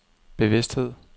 bevidsthed